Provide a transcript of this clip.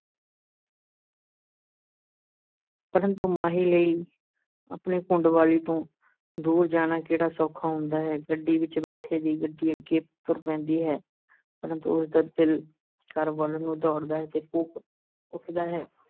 ਪਰੰਤੂ ਮਾਹੀ ਲਈ ਆਪਣੀ ਘੁੰਡ ਵਾਲੀ ਤੋਂ ਦੂਰ ਜਾਣਾ ਕਿਹੜਾ ਸੌਖਾ ਹੁੰਦਾ ਹੈ, ਗੱਡੀ ਵਿਚ ਬੈਠੇ ਦੀ ਗੱਡੀ ਅੱਗੇ ਤੁਰ ਪੈਂਦੀ ਹੈ, ਪਰੰਤੂ ਉਸ ਦਾ ਦਿਲ ਘਰ ਵਲ ਨੂੰ ਦੌੜਦਾ ਹੈ ਤੇ ਕੂਕ ਉੱਠਦਾ ਹੈ।